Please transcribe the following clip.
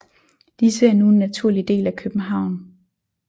Disse er nu en naturlig del af København